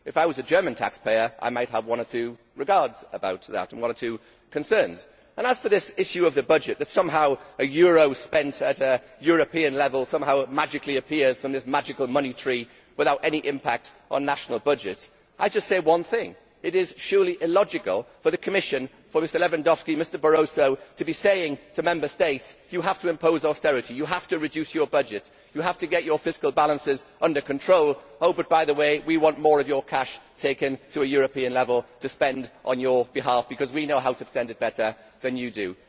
If I were a German taxpayer, I might have one or two concerns about it. As for this issue of the budget that somehow a euro spent at European level somehow magically appears from this magical money tree without any impact on national budgets I just say one thing. It is surely illogical for the Commission for Mr Lewandowski and Mr Barroso to be saying to Member States you have to impose austerity, you have to reduce your budget, you have to get your fiscal balances under control oh, but by the way, we want more of your cash taken to a European level to spend on your behalf because we know how to spend it better than you do.'